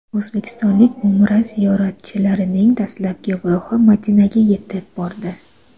O‘zbekistonlik Umra ziyoratchilarining dastlabki guruhi Madinaga yetib bordi.